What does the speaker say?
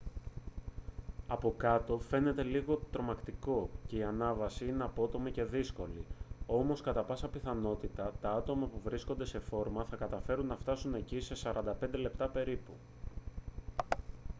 από κάτω φαίνεται λίγο τρομακτικό και η ανάβαση είναι απότομη και δύσκολη όμως κατά πάσα πιθανότητα τα άτομα που βρίσκονται σε φόρμα θα καταφέρουν να φτάσουν εκεί σε 45 λεπτά περίπου